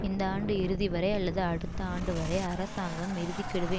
இந்த ஆண்டு இறுதிவரை அல்லது அடுத்த ஆண்டு வரை அரசாங்கம் இறுதி கெடுவை